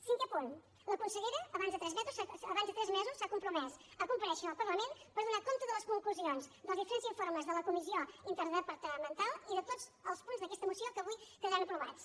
cinquè punt la consellera abans de tres mesos s’ha compromès a comparèixer al parlament per donar compte de les conclusions dels diferents informes de la comissió interdepartamental i de tots els punts d’aquesta moció que avui quedaran aprovats